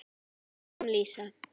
Þannig kom Lísa.